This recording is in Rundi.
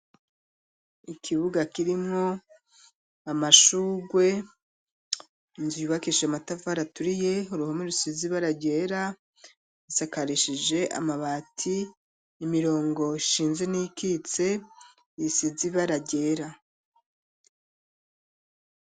Ikibuga kirimwo amashurwe inzu yubakishije matafari aturiye uruhome rusizi baragera bisakarishije amabati imirongo ishinze n'ikitse isize bara ryera.